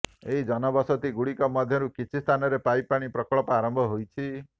ଏହି ଜନବସତି ଗୁଡ଼ିକ ମଧ୍ୟରୁ କିଛି ସ୍ଥାନରେ ପାଇପ ପାଣି ପ୍ରକଳ୍ପ ଆରମ୍ଭ ହୋଇଛି